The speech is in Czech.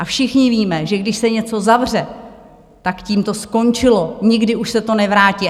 A všichni víme, že když se něco zavře, tak tím to skončilo, nikdy už se to nevrátí.